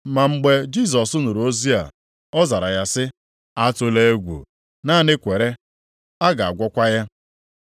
Ma mgbe Jisọs nụrụ ozi a, ọ zara ya sị, “Atụla egwu, naanị kwere, a ga-agwọkwa ya.”